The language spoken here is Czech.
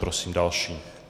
Prosím další.